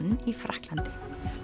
í Frakklandi